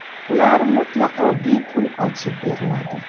Ular mutlaqo bepul ochib beriladi!